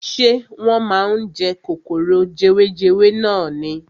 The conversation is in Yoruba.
Ṣé wọ́n máa ń jẹ kòkòrò jewejewe nani.